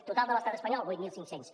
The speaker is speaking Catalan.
total de l’estat espanyol vuit mil cinc cents